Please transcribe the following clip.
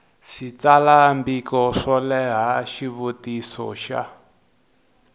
switsalwambiko swo leha xivutiso xa